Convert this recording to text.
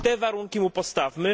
Te warunki mu postawmy.